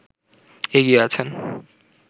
এগিয়ে আছেন